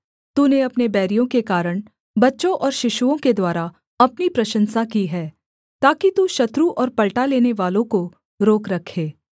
तूने अपने बैरियों के कारण बच्चों और शिशुओं के द्वारा अपनी प्रशंसा की है ताकि तू शत्रु और पलटा लेनेवालों को रोक रखे